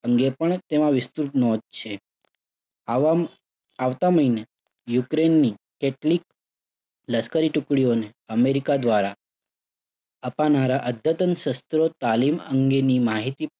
અંગે પણ તેમાં વિસ્તૃત નોંધ છે. આવામઆવતા મહિને યુક્રેઇનની કેટલીક લશ્કરી ટુકડીઓને અમેરિકા દ્વારા અદ્યતન શસ્ત્રો તાલીમ અંગેની માહિતી